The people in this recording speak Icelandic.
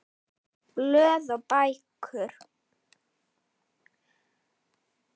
Blöð og bækur